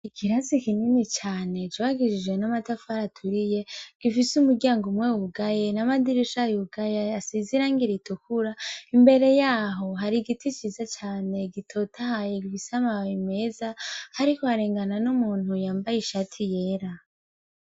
Ikirasi kinini cane, cubakishijwe n'amatafari aturiye, gifise umuryango umwe wugaye n'amadirisha yugaye, asize irangi ritukura. Imbere yaho hari igiti ciza cane gitotahaye, gifise amababi meza, hariko harengana n'umuntu yambaye ishati yera.